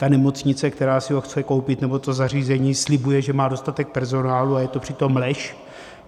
Ta nemocnice, která si ho chce koupit nebo to zařízení slibuje, že má dostatek personálu, a je to přitom lež.